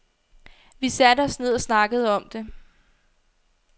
Vi satte os ned og snakkede om det.